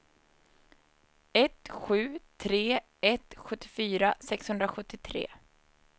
ett sju tre ett sjuttiofyra sexhundrasjuttiotre